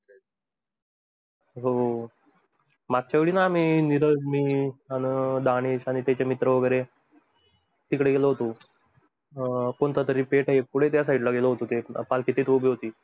हो मागच्यावेळी मी निरज मी आणि दानिश त्याचे मित्र वगैरे टिक्डे गेलो होतो. कोणता तरी पेठ आहे पुढे त्या side ला गेलो होतो.